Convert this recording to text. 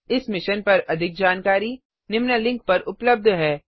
इस मिशन पर अधिक जानकारी निम्न लिंक पर उपलब्ध है